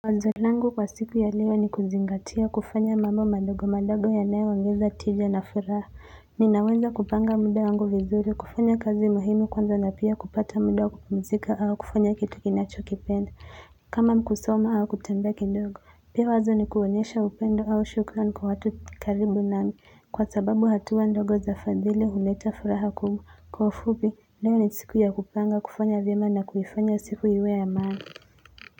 Wazo langu kwa siku ya leo ni kuzingatia kufanya mambo madogo madogo yanayo ongeza tija na furaha ninaweza kupanga muda wangu vizuri kufanya kazi muhimu kwanza na pia kupata muda wan kupimzika au kufanya kitu kinachokipenda kama ni kusoma au kutembea kidogo pia wazo ni kuonyesha upendo au shukran kwa watu karibu nami kwa sababu hatua ndogo za fadhili huleta furaha kubwa kwa ufupi leo ni siku ya kupanga kufanya vyema na kuhifanya siku iwe ya maana.